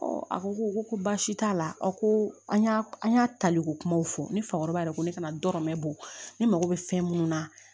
a ko ko baasi t'a la aw ko an y'a an y'a taliko kumaw fɔ ni fakɔrɔba yɛrɛ ko ne kana dɔ mɛn bɔ ne mako bɛ fɛn minnu na